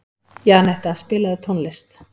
Janetta, spilaðu tónlist.